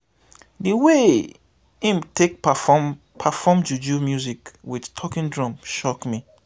di way im take perform perform juju music wit talking drum shock me.